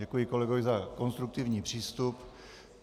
Děkuji kolegovi za konstruktivní přístup.